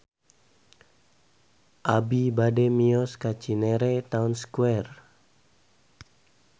Abi bade mios ka Cinere Town Square